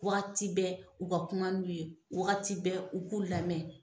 Wagati bɛ u ka kuma n'u ye wagati bɛ u k'u lamɛn